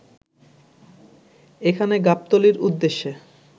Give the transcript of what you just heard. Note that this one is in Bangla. এখানে গাবতলীর উদ্দেশ্যে